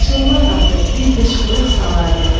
şıllaq atıb bir qışqırıq salardıq.